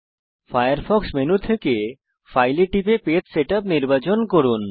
Firefox menu bar থেকে file এ টিপুন এবং পেজ সেটআপ নির্বাচন করুন